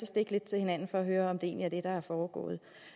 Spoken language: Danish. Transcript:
stikke lidt til hinanden og høre om det egentlig er det der er foregået